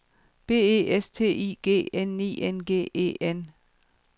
B E S T I G N I N G E N